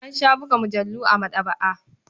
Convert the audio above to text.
An sha buga mujallu a maɗaba'a.